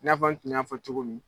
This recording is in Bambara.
I n'a fɔ n tun y'a fɔ cogo min